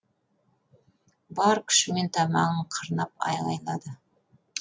бар күшімен тамағын қырнап айғайлады